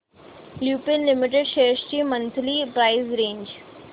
Lupin limited shares ची monthly price range